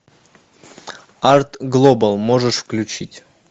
арт глобал можешь включить